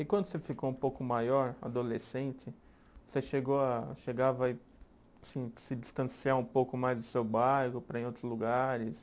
E quando você ficou um pouco maior, adolescente, você chegou a, chegava a ir assim, se distanciar um pouco mais do seu bairro para ir em outros lugares?